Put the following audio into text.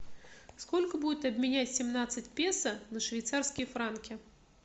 сколько будет обменять семнадцать песо на швейцарские франки